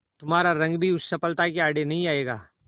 तुम्हारा रंग भी उस सफलता के आड़े नहीं आएगा